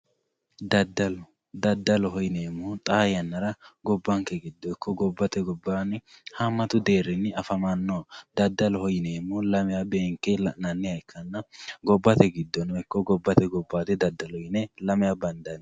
daddalo daddaloho yineemmohu xaa yannara gobbanke giddo ikko gobbate gobbaanni haammatu deerrinni afamannoho daddaloho yineemmohu lamewa beenke la'neemmoha ikkanna gobbate giddono ikko gobbate gobbayiidi daddalo yine lamewa bandanni.